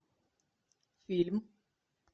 фильм